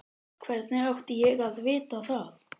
Hvernig átti ég að vita það?